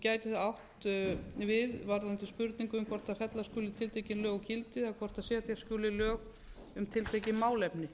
gæti það átt við varðandi spurningu um hvort fella skuli tiltekin lög úr gildi eða hvort setja skuli lög um tiltekið málefni